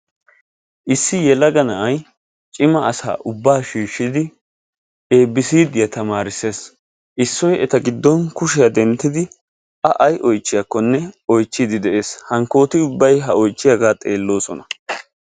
issi yelaga na'ay cimma asaa ubaa shiishidi eebbiiciidiya tamaarises, issoy eta gidon kushiya denttidi a ay oychchiyakkonr oychchiidi de'ees, hankkoti ubbay ha oychchiyagaa xeelosona.